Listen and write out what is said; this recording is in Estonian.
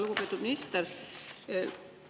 Lugupeetud minister!